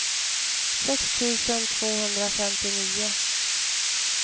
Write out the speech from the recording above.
sex tusen tvåhundrafemtionio